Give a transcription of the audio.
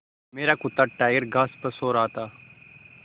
मेरा कुत्ता टाइगर घास पर सो रहा था